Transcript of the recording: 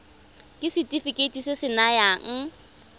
ke setefikeiti se se nayang